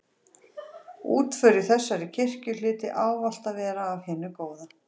Útför í þessari kirkju hlyti ávallt að vera af hinu góða.